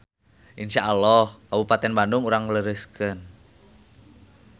Insya Alloh Kabupaten Bandung urang lereskeun.